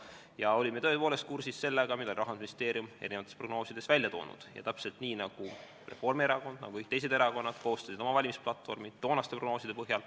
Me olime tõepoolest kursis sellega, mida Rahandusministeerium oli prognoosides välja toonud, täpselt nii nagu koostas Reformierakond ja nagu kõik erakonnad koostasid oma valimisplatvormid toonaste prognooside põhjal.